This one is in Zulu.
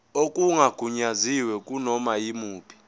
okungagunyaziwe kunoma yimuphi